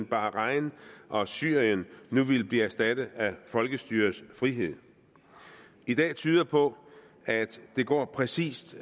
bahrain og syrien nu ville blive erstattet af folkestyrets frihed i dag tyder det på at det går præcis